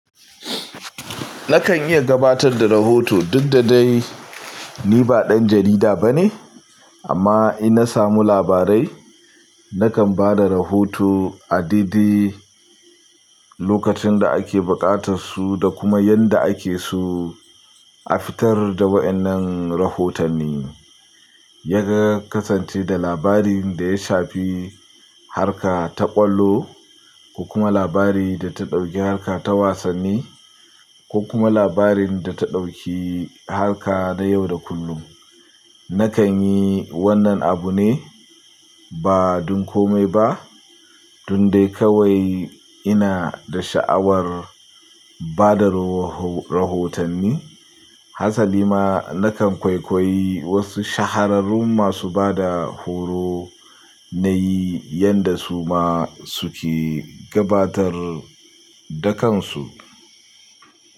Nakan iya gabatar da rahoto duk da dai ni ba ɗan jarida bane amma inna samu labarai nakan ba da rahoto a daidai lokacin da ake buƙatar su da kuma yanda ake so a fitar da waɗannan rahotanni. Yana kasance da labarin da ya shafi harka ta ƙwallo ko kuma labari da ta ɗauki harka ta wasanni ko kuma labarin da ta ɗauki harka na yau da kullum. Nakan yi wannan abu ne ba don komai ba dun dai kawai ina da sha'awar bada rahotanni. Hasali ma nakan kwaikwayi wasu shahararrun masu bada horo na yi yanda su ma suke gabatar da kansu.